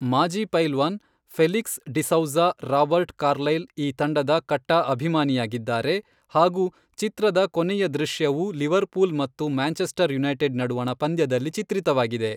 ಮಾಜಿ ಪೈಲ್ವಾನ್ Felix D'Souza Robert Carlyle ಈ ತಂಡದ ಕಟ್ಟಾ ಅಭಿಮಾನಿಯಾಗಿದ್ದಾರೆ ಹಾಗೂ ಚಿತ್ರದ ಕೊನೆಯ ದೃಶ್ಯವು ಲಿವರ್ ಪೂಲ್ ಮತ್ತು ಮ್ಯಾಂಚೆಸ್ಟರ್ ಯುನೈಟೆಡ್ ನಡುವಣ ಪಂದ್ಯದಲ್ಲಿ ಚಿತ್ರಿತವಾಗಿದೆ.